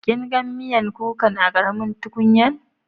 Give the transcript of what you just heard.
Kin gan miyan kukan a karamin tukunyan?